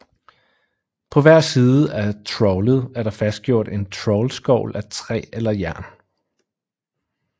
På hver side af trawlet er der fastgjort en trawlskovl af træ eller jern